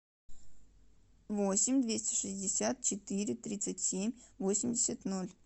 восемь двести шестьдесят четыре тридцать семь восемьдесят ноль